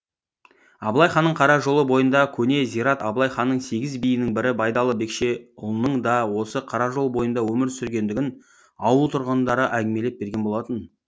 абылай ханның қара жолы бойындағы көне зират абылай ханның сегіз биінің бірі байдалы бекше ұлының да осы қара жол бойында өмір сүргендігін ауыл тұрғындары әңгімелеп берген болатын